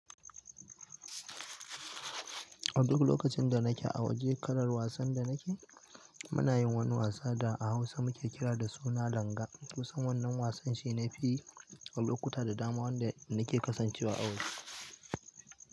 Duk lokacin da nake a waje, kalar wasan da nake, muna yin wani wasa da a Hausa muke kira da suna langa. Kusan wannan wasan shi ne fiye a lokuta da dama wanda nake kasancewa a waje.